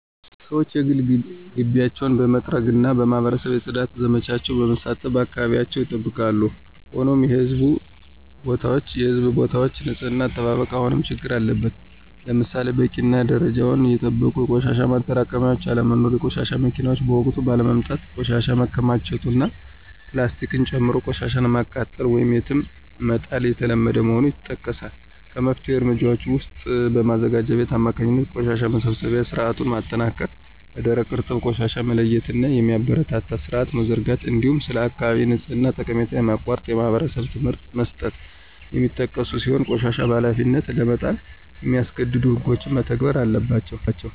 ሰዎች የግል ግቢያቸውን በመጥረግና በማኅበረሰብ የፅዳት ዘመቻዎች በመሳተፍ አካባቢያቸውን ይጠብቃሉ። ሆኖም የሕዝብ ቦታዎች ንፅህና አጠባበቅ አሁንም ችግር አለበት። ለምሳሌ በቂና ደረጃቸውን የጠበቁ የቆሻሻ ማጠራቀሚያዎች አለመኖር፣ የቆሻሻ መኪናዎች በወቅቱ ባለመምጣታቸው ቆሻሻ መከማቸቱ እና ፕላስቲክን ጨምሮ ቆሻሻን ማቃጠል ወይም የትም መጣል የተለመደ መሆኑ ይጠቀሳል። ከመፍትሄ እርምጃዎች ውስጥም በማዘጋጃ ቤት አማካኝነት የቆሻሻ መሰብሰቢያ ሥርዓቱን ማጠናከር፣ ለደረቅና እርጥብ ቆሻሻ መለያየትን የሚያበረታታ ሥርዓት መዘርጋት፣ እንዲሁም ስለ አካባቢ ንጽሕና ጠቀሜታ የማያቋርጥ የማኅበረሰብ ትምህርት መስጠት የሚጠቀሱ ሲሆን ቆሻሻን በኃላፊነት ለመጣል የሚያስገድዱ ሕጎችም መተግበር አለባቸው።